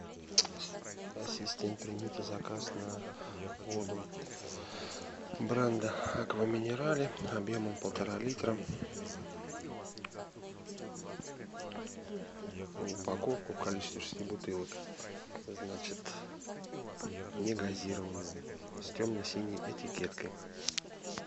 ассистент примите заказ на воду бренда аква минерале объемом полтора литра упаковку в количестве шести бутылок значит негазированную с темно синей этикеткой